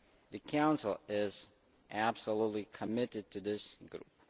The Council is absolutely committed to this group.